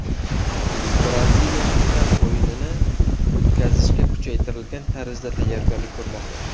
Braziliya final o‘yinini o‘tkazishga kuchaytirilgan tarzda tayyorgarlik ko‘rmoqda.